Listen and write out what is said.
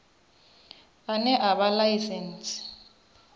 ane a vha na ḽaisentsi